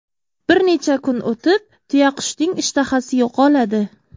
Bir necha kun o‘tib, tuyaqushning ishtahasi yo‘qoladi.